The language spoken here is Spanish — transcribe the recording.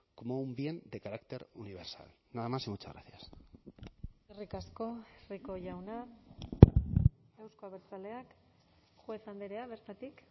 como un bien de carácter universal nada más y muchas gracias eskerrik asko rico jauna euzko abertzaleak juez andrea bertatik